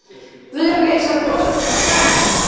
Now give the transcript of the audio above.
Guðlaug Elísabet Ólafsdóttir: Er það ekki, Steini?